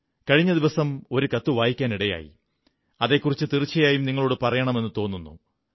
കഴിഞ്ഞ ദിവസം ഒരു കത്ത് വായിക്കാനിടയായി അതെക്കുറിച്ച് തീർച്ചയായും നിങ്ങളോടു പറയണമെന്നു തോന്നുന്നു